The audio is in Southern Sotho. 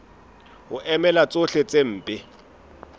ho emela tsohle tse mpe